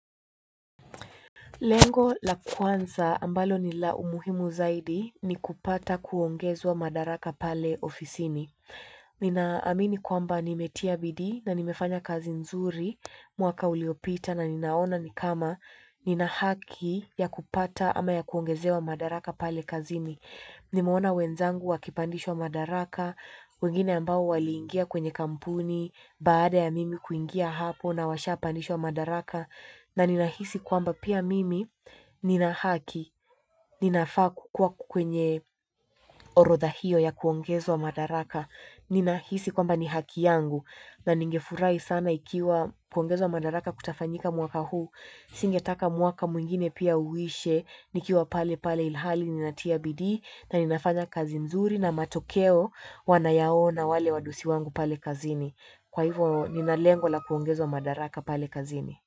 Lengo la kwanza ambalo ni la umuhimu zaidi ni kupata kuongezwa madaraka pale ofisini. Ninaamini kwamba nimetia bidii na nimefanya kazi nzuri mwaka uliopita na ninaona ni kama nina haki ya kupata ama ya kuongezewa madaraka pale kazini. Nimeona wenzangu wakipandishwa madaraka, wengine ambao waliingia kwenye kampuni, baada ya mimi kuingia hapo na washapandishwa madaraka na ninahisi kwamba pia mimi nina haki, ninafaa kukuwa kwenye orodha hio ya kuongezwa madaraka. Ninahisi kwamba ni haki yangu na ningefurahi sana ikiwa kuongezwa madaraka kutafanyika mwaka huu. Singetaka mwaka mwingine pia uishe, nikiwa pale pale ilhali ninatia bidii na ninafanya kazi nzuri na matokeo wanayaona wale wadosi wangu pale kazini. Kwa hivyo nina lengo la kuongezwa madaraka pale kazini.